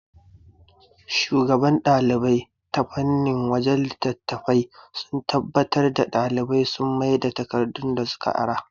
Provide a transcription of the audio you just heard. Shugaban ɗalibai ta fannin wajan littatafai suna tabbatar da ɗalibai sun maida takardu da suka ara